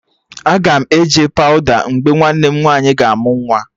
Aga m eje pawụda mgbe nwanne nwaanyị ga amụ nwa